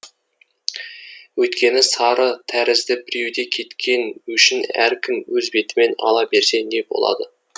өйткені сары тәрізді біреуде кеткен өшін әркім өз бетімен ала берсе не болады